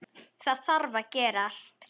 Það þarf að gerast.